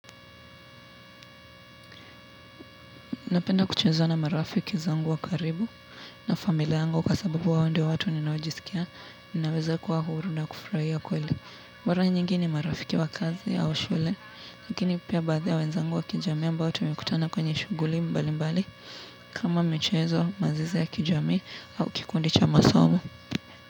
Napenda kucheza na marafiki zangu wa karibu na familia yangu kwa sababu hawa ndio watu ninaojisikia, ninaweza kuwa huru na kufuraia kweli. Maara nyingi ni marafiki wa kazi au shule, lakini pia baadha wenzangu wa kijamii ambao tumekutana kwenye shuguli mbali mbali, kama michezo mazoezi ya kijamii au kikundi cha masomo.